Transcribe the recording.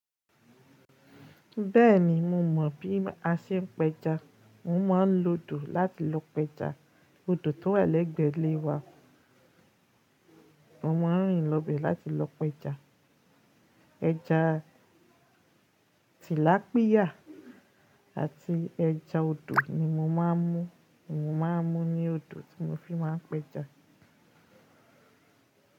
Bẹ́ẹ̀ni, mo mọ̀ bí a ṣe ń pẹja. Mo máa ń lo odò láti lọ pẹja. Odò tó wà lẹ́gbẹ̀ẹ́ ilé wa, mo máa ń rìn lọ bẹ̀ láti lọ pẹja. Ẹja tìlápíyà àti ẹja odò ni mo máa ń mú. Mo máa ń mú ní odò tí mo fi máa ń pẹja.